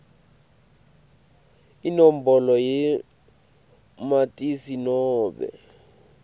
inombolo yamatisi nobe